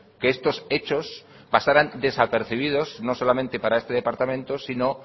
que estos hechos pasaran desapercibidos no solamente para este departamento sino